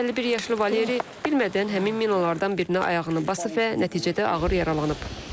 51 yaşlı Valeri bilmədən həmin minalardan birinə ayağını basıb və nəticədə ağır yaralanıb.